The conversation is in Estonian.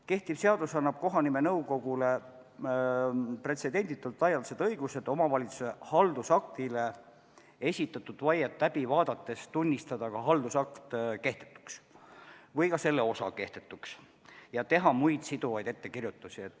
Kehtiv seadus annab kohanimenõukogule pretsedenditult laialdased õigused omavalitsuse haldusakti kohta esitatud vaiet läbi vaadates tunnistada haldusakt või selle osa kehtetuks ja teha muid siduvaid ettekirjutusi.